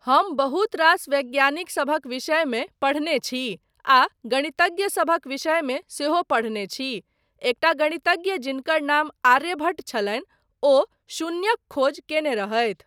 हम बहुत रास वैज्ञानिकसभक विषयमे पढ़ने छी आ गणितज्ञसभक विषयमे सेहो पढ़ने छी, एकटा गणितज्ञ जिनकर नाम आर्यभट्ट छलनि ओ शुन्यक खोज कयने रहथि।